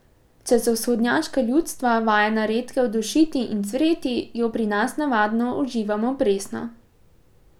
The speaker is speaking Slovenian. Če so vzhodnjaška ljudstva vajena redkev dušiti in cvreti, jo pri nas navadno uživamo presno.